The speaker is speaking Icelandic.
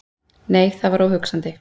Nei, það var óhugsandi!